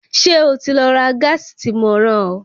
Ṣé o ti lọ ra gáàsì tí mo rán ọ?